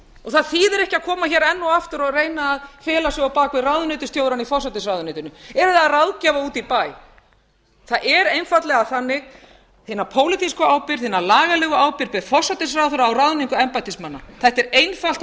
það þýðir ekki að koma hér enn og aftur og reyna að fela sig á bak við ráðuneytisstjórann í forsætisráðuneytinu eða ráðgjafa úti í bæ það er einfaldlega þannig að hina pólitísku ábyrgð hina lagalegu ábyrgð ber forsætisráðherra á ráðningu embættismanna þetta er einfalt og